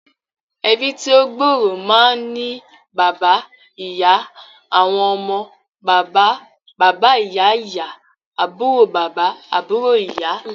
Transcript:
Ẹbí tí ó gbòòrò máa ń ní bàbà, ìyá, àwọn ọmọ, bàbà - baba ìyá-ìyá, àbúrò bàbà, àbúrò ìyá